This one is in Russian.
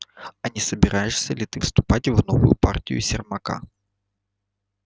а не собираешься ли ты вступать в новую партию сермака